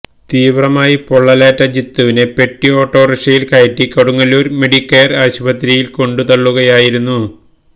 തീവ്രമായി പൊള്ളലേറ്റ ജിത്തുവിനെ പൊട്ടിഓട്ടോറിക്ഷയില് കയറ്റി കൊടുങ്ങല്ലൂര് മെഡികെയര് ആശുപത്രിയില്കൊണ്ട് തള്ളുകയായിരുന്നു